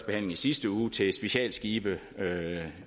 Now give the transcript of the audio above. behandling i sidste uge til specialskibe